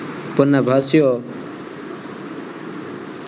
પન્નાભાસીઓ